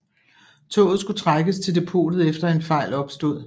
Toget skulle trækkes til depotet efter en fejl opstod